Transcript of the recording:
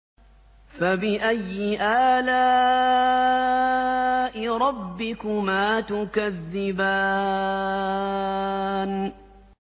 فَبِأَيِّ آلَاءِ رَبِّكُمَا تُكَذِّبَانِ